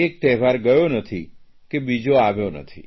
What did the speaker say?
એક તહેવાર ગયો નથી કે બીજો આવ્યો નથી